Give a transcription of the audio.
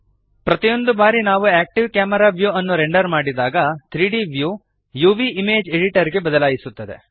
ಪ್ರತಿಯೊಂದು ಬಾರಿ ನಾವು ಆಕ್ಟಿವ್ ಕ್ಯಾಮೆರಾ ವ್ಯೂ ಅನ್ನು ರೆಂಡರ್ ಮಾಡಿದಾಗ 3ದ್ ವ್ಯೂ UVಇಮೇಜ್ ಎಡಿಟರ್ ಗೆ ಬದಲಾಯಿಸುತ್ತದೆ